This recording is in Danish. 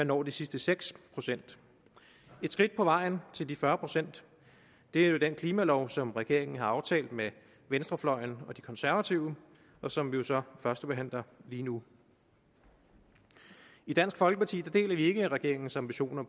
når de sidste seks procent et skridt på vejen til de fyrre procent er jo den klimalov som regeringen har aftalt med venstrefløjen og de konservative og som vi så førstebehandler lige nu i dansk folkeparti deler vi ikke regeringens ambitioner